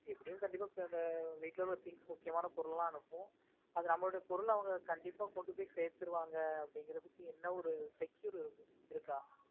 எப்படியும் கண்டிப்பா இந்த வீட்ல உள்ள things முக்கியமான பொருள் எல்லாம் அனுப்புவோம். அது நம்மளோட பொருளா அவங்க கண்டிப்பா கொண்டு போய் சேத்துருவாங்க அப்படிங்கறதுக்கு என்ன ஒரு secure இருக்கா?